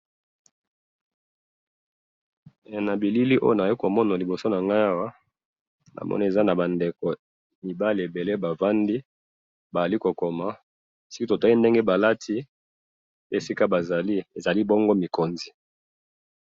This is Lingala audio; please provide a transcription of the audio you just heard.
na bilili oyo nayo komona liboso nanga awa namoni eza naba ndeko mibali ebele bavandi balikokoma soki totali ndenge balati esika bazali ezali bongo mikonzi